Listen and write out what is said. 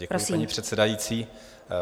Děkuji, paní předsedající.